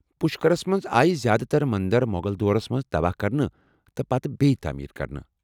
پشکرس منٛز آیہ زیٛادٕ تر منٛدر مۄغل دورس منٛز تباہ کرنہٕ، تہٕ پتہٕ بیٚیہ تعمیٖر کرنہٕ۔